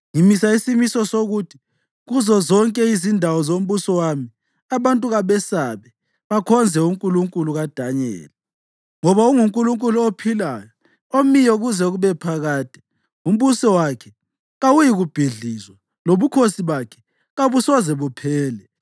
Ngimisa isimiso sokuthi kuzozonke izindawo zombuso wami, abantu kabesabe, bakhonze uNkulunkulu kaDanyeli. Ngoba unguNkulunkulu ophilayo, omiyo kuze kube phakade; umbuso wakhe kawuyikubhidlizwa, lobukhosi bakhe kabusoze buphele.